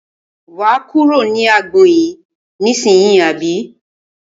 Wà á kúrò ní agbọn yìí ní ìsínyì àbí?